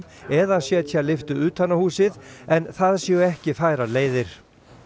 eða setja lyftu utan á húsið en það séu ekki færar leiðir